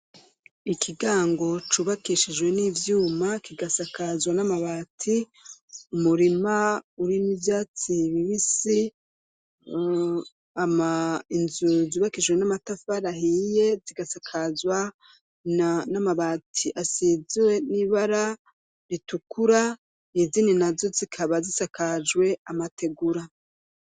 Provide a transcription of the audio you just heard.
Ikigango cubakishijwe n'ivyuma, kigasakazwa n'amabati, umurima urimwo ivyatsi bibisi, inzu zubakishiwe n'amatafari ahiye, zigasakazwa n'amabati asizwe n'ibara ritukura, izindi nazo zikaba zisakajwe amategura.